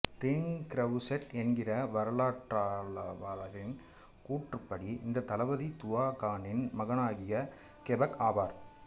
ரீன் Grousset என்கிற வரலாற்றாய்வாளரின் கூற்றுப்படி இந்த தளபதி துவா கானின் மகனாகிய கெபெக் ஆவார்